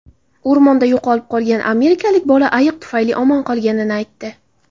O‘rmonda yo‘qolib qolgan amerikalik bola ayiq tufayli omon qolganini aytdi.